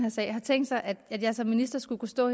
her sag har tænkt sig at jeg som minister skulle kunne stå